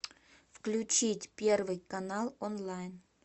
включить первый канал онлайн